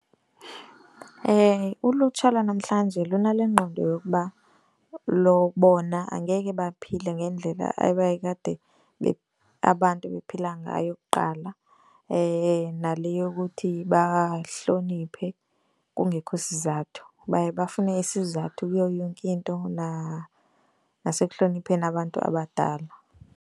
Ulutsha lwanamhlanje lunale ngqondo yokuba bona angeke baphile ngendlela ebayekade abantu bephila ngayo kuqala. Nale yokuthi bahloniphe kungekho sizathu. Baye bafune isizathu kuyo yonke into nasekuhlonipheni abantu abadala.